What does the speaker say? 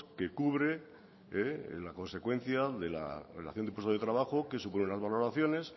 que cubre la consecuencia de la relación de puestos de trabajo que suponen las valoraciones